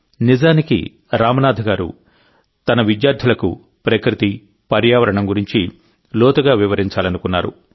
నిజానికిరామ్నాథ్ గారు తన విద్యార్థులకు ప్రకృతి పర్యావరణం గురించి లోతుగా వివరించాలనుకున్నారు